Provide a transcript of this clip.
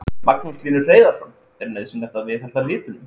Magnús Hlynur Hreiðarsson: Er nauðsynlegt að viðhalda litunum?